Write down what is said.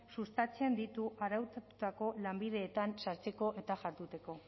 sustatzen ditu araututako lanbideetan sartzeko eta jarduteko